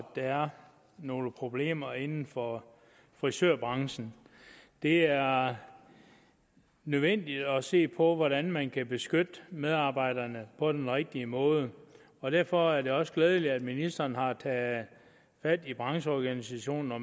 der er nogle problemer inden for frisørbranchen det er nødvendigt at se på hvordan man kan beskytte medarbejderne på den rigtige måde og derfor er det også glædeligt at ministeren har taget fat i brancheorganisationer